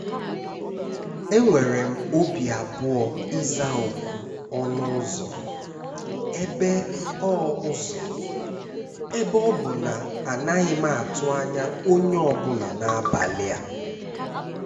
Enwèrè m obi abụọ ịza òkù ọnụ ụ́zọ́, èbe ọ ụ́zọ́, èbe ọ bụ na anaghị m àtụ́ anya onye ọ bụla n’abalị a.